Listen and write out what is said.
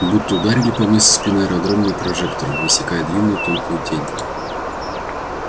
будто ударили по мне со спины аэродромные прожекторы высекая длинную тонкую тень